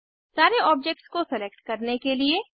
सारे ऑब्जेक्ट्स को सेलेक्ट करने के लिए CTRLA दबाएं